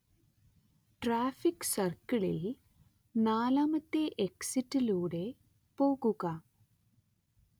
traffic സർക്കിളിൽ നാലാമത്തെ എക്സിറ്റിലൂടെ പോകുക